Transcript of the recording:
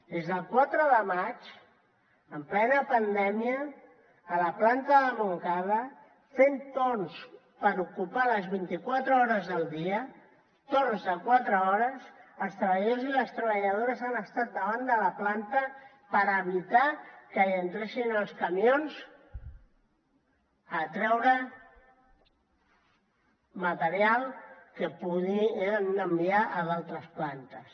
des del quatre de maig en plena pandèmia a la planta de montcada fent torns per ocupar les vint i quatre hores del dia torns de quatre hores els treballadors i les treballadores han estat davant de la planta per evitar que hi entressin els camions a treure material que podien enviar a altres plantes